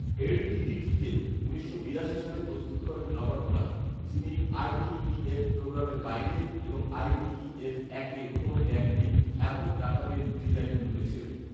LDDT কে উনিশশো বিরাশি সালে প্রস্তুত করেন রবার্ট ব্রাউন, যিনি আই.ডি.ই.এফ প্রোগ্রামের বাইরে এবং আই.ডি.ই.এফ এক এর কোন জ্ঞান নেই, এমন ডাটাবেজ ডিজাইন গ্রুপে ছিলেন